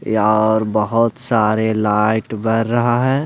यार बहुत सारे लाइट बर रहा है.